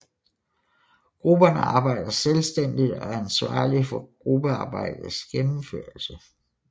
Grupperne arbejder selvstændigt og er ansvarlige for gruppearbejdets gennemførelse